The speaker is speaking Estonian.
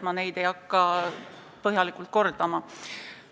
Ma ei hakka neid põhjalikult üle kordama.